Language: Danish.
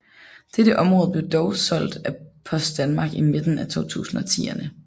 Dette område blev dog solgt af Post Danmark i midten af 2010erne